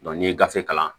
n'i ye gafe kalan